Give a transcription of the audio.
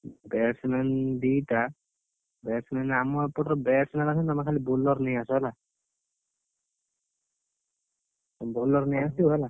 Batsman ଦିଟା, batsman ଆମ ଏପଟର batsman ଅଛନ୍ତି ତମେ ଖାଲି bowler ନେଇଆସ ହେଲା, bowler ନେଇଆସିବ ହେଲା!